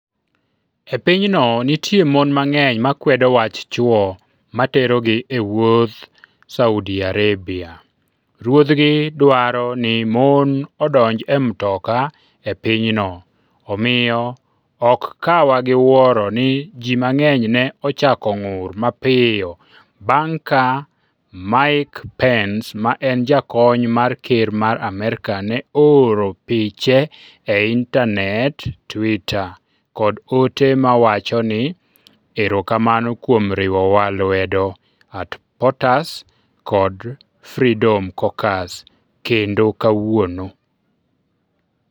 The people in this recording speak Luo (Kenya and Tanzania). E pinyno, nitie mon mang'eny makwedo wach chwo ma terogi e wuoth Saudi Arabia Ruodhgi dwaro ni mon odonj e mtoka e pinyno Omiyo, ok kawwa gi wuoro ni ji mang'eny ne ochako ng'ur mapiyo bang ' ka Mike Pence ma en jakony mar ker mar Amerka ne ooro piche e Intanet. Twitter, kod ote mawacho ni: "Erokamano kuom riwowa lwedo. @POTUS kod Freedom Caucus kendo kawuono.